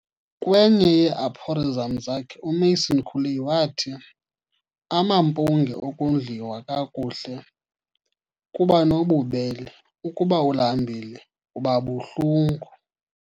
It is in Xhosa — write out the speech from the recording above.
Kwenye yee -aphorisms zakhe, uMason Cooley wathi " "amampunge, ukondliwa kakuhle, kuba nobubele. Ukuba ulambile, uba buhlungu" ."